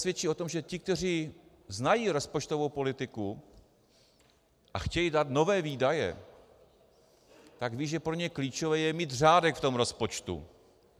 Svědčí o tom, že ti, kteří znají rozpočtovou politiku a chtějí dát nové výdaje, tak vědí, že pro ně klíčové je mít řádek v tom rozpočtu.